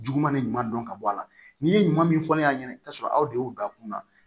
Juguman de ɲuman dɔn ka bɔ a la n'i ye ɲuman min fɔ ne ɲɛna i bi taa sɔrɔ aw de y'u da kunna